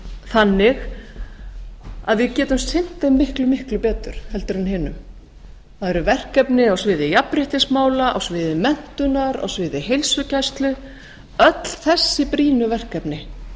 þannig að við getum sinnt þeim miklu miklu betur heldur en hinum það eru verkefni á sviði jafnréttismála á sviði heilsugæslu öll þessi brýnu verkefni